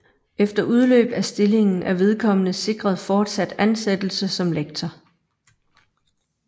Efter udløb af stillingen er vedkommende sikret fortsat ansættelse som lektor